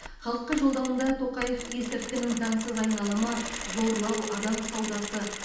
халыққа жолдауында тоқаев есірткінің заңсыз айналымы зорлау адам саудасы